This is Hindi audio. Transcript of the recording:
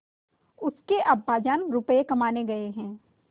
उसके अब्बाजान रुपये कमाने गए हैं